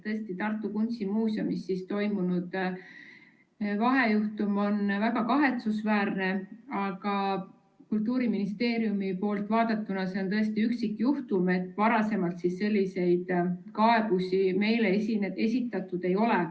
Tõesti, Tartu Kunstimuuseumis toimunud vahejuhtum on väga kahetsusväärne, aga Kultuuriministeeriumi poolt vaadatuna on see tõesti üksikjuhtum, varem selliseid kaebusi meile esitatud ei ole.